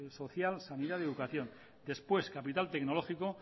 social sanidad y educación después capital tecnológico